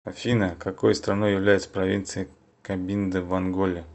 афина какой страной является провинция кабинда в анголе